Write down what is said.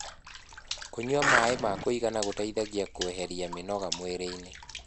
kũnyua maĩ ma kuigana gũteithagia kueherĩa mĩnoga mwĩrĩ-ini